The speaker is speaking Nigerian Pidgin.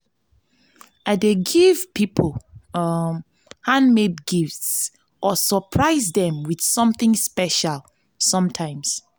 i dey give people um handmade gifts or surprise dem with something special sometimes.